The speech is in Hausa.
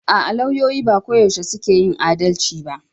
A'a, lauyoyi ba koyaushe suke yin adalci ba.